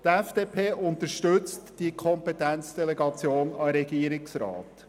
Die FDP unterstützt die Kompetenzdelegation an den Regierungsrat.